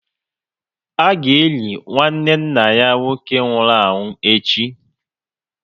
A ga eli nwanne nna ya nwoke nwụrụ anwụ echi